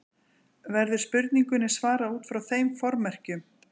Verður spurningunni svarað út frá þeim formerkjum.